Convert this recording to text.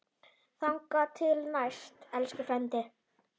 Þangað til næst, elsku frændi.